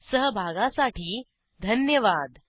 सहभागासाठी धन्यवाद